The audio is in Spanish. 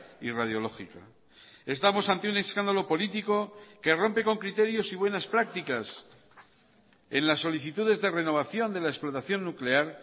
y radiológica estamos ante un escándalo político que rompe con criterios y buenas prácticas en las solicitudes de renovación de la explotación nuclear